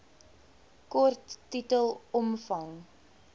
kort titel omvang